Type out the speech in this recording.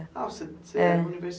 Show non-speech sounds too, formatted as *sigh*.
Ah, você *unintelligible*